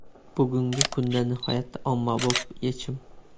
Bugungi kunda nihoyatda ommabop yechim.